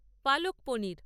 পালক পনির